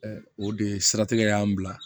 o de siratigɛ y'an bila